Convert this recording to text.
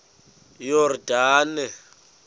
yordane